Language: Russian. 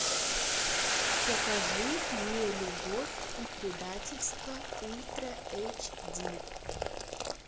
покажи мне любовь и предательство ультра эйч ди